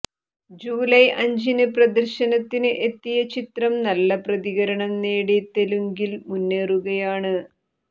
July അഞ്ചിന് പ്രദർശനത്തിന് എത്തിയ ചിത്രം നല്ല പ്രതികരണം നേടി തെലുങ്കിൽ മുന്നേറുകയാണ്